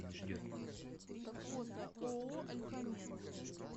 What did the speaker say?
фото ооо альфамет